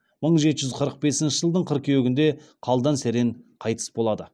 мың жеті жүз қырық бесінші жылдың қыркүйегінде қалдан серен қайтыс болады